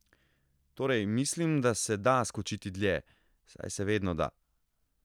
Torej, mislim, da se da skočiti dlje, saj se vedno da.